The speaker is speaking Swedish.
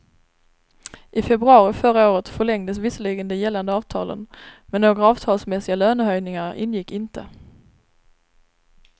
I februari förra året förlängdes visserligen de gällande avtalen, men några avtalsmässiga lönehöjningar ingick inte.